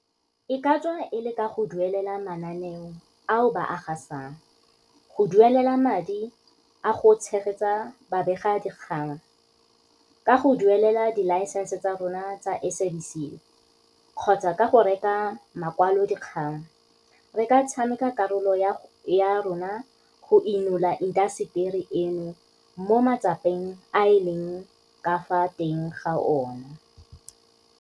E ka tswa e le ka go duelela mananeo ao ba a gasang, go duelela madi a go tshegetsa babegadikgang, ka go duelela dilaesense tsa rona tsa SABC kgotsa ka go reka makwalodikgang, re ka tshameka karolo ya rona go inola intaseteri eno mo matsapeng a e leng ka fa teng ga ona.